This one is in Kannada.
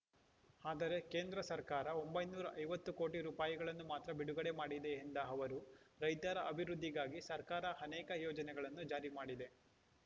ಆದರೆ ಕೇಂದ್ರ ಸರ್ಕಾರ ಒಂಬೈನೂರ ಐವತ್ತು ಕೋಟಿ ರೂಗಳನ್ನು ಮಾತ್ರ ಬಿಡುಗಡೆ ಮಾಡಿದೆ ಎಂದ ಅವರು ರೈತರ ಅಭಿವೃದ್ಧಿಗಾಗಿ ಸರ್ಕಾರ ಅನೇಕ ಯೋಜನೆಗಳನ್ನು ಜಾರಿ ಮಾಡಿದೆ